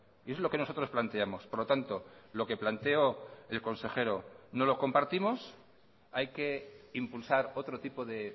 y es lo que nosotros planteamos por lo tanto lo que planteó el consejero no lo compartimos hay que impulsar otro tipo de